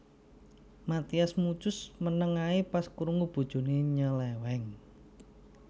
Mathias Muchus meneng ae pas krungu bojone nyeleweng